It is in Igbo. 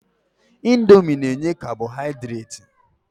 Indomi na-enye kabọhaidreti.